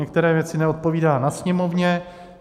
Některé věci neodpovídá na sněmovně.